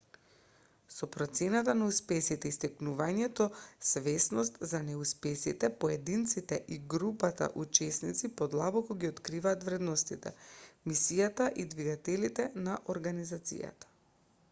со процената на успесите и стекнувањето свесност за неуспесите поединците и групата учесници подлабоко ги откриваат вредностите мисијата и двигателите на организацијата